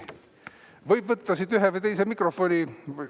Võib võtta siit ühe või teise mikrofoni.